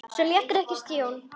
Svo létirðu ekki að stjórn.